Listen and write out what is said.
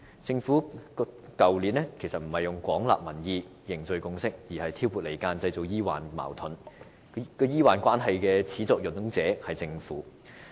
政府去年並沒有廣納民意、凝聚共識，而是挑撥離間，製造醫患矛盾。破壞醫患關係的始作俑者是政府。